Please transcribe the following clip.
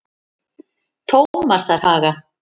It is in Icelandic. Tómasarhaga